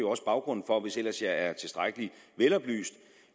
også baggrunden for hvis jeg ellers er tilstrækkelig veloplyst